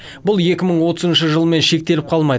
бұл екі мың отызыншы жылмен шектеліп қалмайды